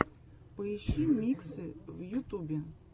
поищи миксы в ютубе